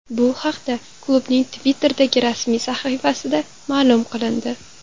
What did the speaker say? Bu haqda klubning Twitter’dagi rasmiy sahifasida ma’lum qilindi .